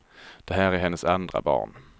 Det här är hennes andra barn.